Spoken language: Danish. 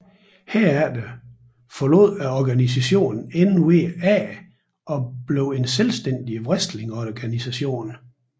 Herefter forlod organisationen NWA og blev en selvstændig wrestlingorganisation